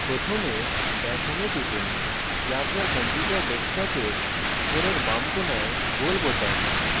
প্রথমে dash home এ টিপুন যা আপনার কম্পিউটার ডেস্কটপের উপরের বাম কোণায় গোল বোতাম